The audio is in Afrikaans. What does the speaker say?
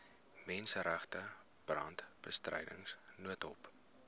menseregte brandbestryding noodhulp